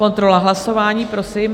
Kontrola hlasování, prosím.